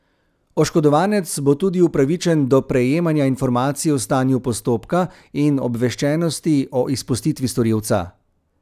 Oškodovanec bo tudi upravičen do prejemanja informacij o stanju postopka in obveščenosti o izpustitvi storilca.